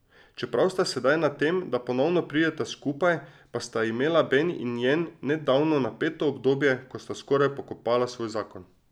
Čeprav sta sedaj na tem, da ponovno prideta skupaj, pa sta imela Ben in Jen nedavno napeto obdobje, ko sta skoraj pokopala svoj zakon.